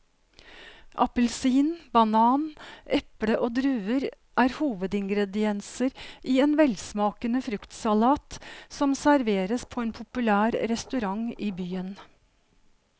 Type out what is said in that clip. Appelsin, banan, eple og druer er hovedingredienser i en velsmakende fruktsalat som serveres på en populær restaurant i byen.